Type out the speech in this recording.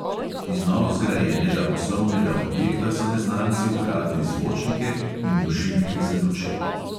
Iz novozgrajenega poslovnega objekta so neznanci ukradli zvočnike in dušilke za luči.